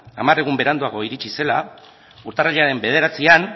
hamar egun beranduago iritsi zela urtarrilaren bederatzian